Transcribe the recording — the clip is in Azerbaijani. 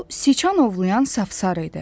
Bu siçan ovlayan safsar idi.